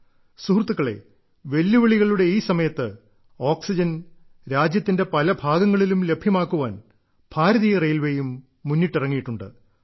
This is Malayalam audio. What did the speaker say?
സുഹൃത്തുക്കളേ വെല്ലുവിളികളുടെ ഈ സമയത്ത് ഓക്സിജൻ രാജ്യത്തിന്റെ പല ഭാഗങ്ങളിലും ലഭ്യമാക്കുവാൻ ഭാരതീയ റെയിൽവേയും മുന്നിട്ടിറങ്ങിയിട്ടുണ്ട്